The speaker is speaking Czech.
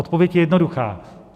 Odpověď je jednoduchá: